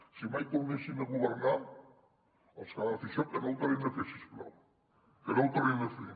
si mai tornessin a governar els que van fer això que no ho tornin a fer si us plau que no ho tornin a fer